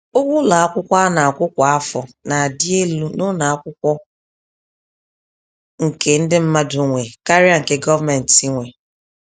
Ụgwọ ụlọ akwụkwọ ana akwụ kwa afọ n'adị élú n'ụlọ Akwụkwọ nke ndị mmadụ nwe karịa nke gọọmentị nwe.